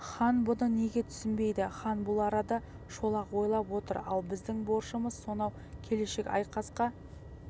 хан бұны неге түсінбейді хан бұл арада шолақ ойлап отыр ал біздің борышымыз сонау келешек айқасқа